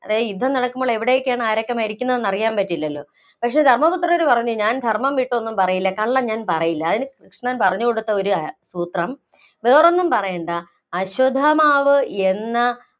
യുദ്ധം നടക്കുമ്പോള്‍ എവിടെയൊക്കെയാണ്, ആരൊക്കെ മരിക്കുന്നതെന്ന് പറയാന്‍ പറ്റില്ലല്ലോ, പക്ഷേ ധര്‍മപുത്രര്‍ പറഞ്ഞു ഞാന്‍ ധര്‍മ്മം വിട്ടൊന്നും പറയില്ല, കള്ളം ഞാന്‍ പറയില്ല, അതിന് കൃഷ്ണൻ പറഞ്ഞുകൊടുത്ത ഒരു സൂത്രം, വേറൊന്നും പറയേണ്ട, അശ്വത്ഥമാവ് എന്ന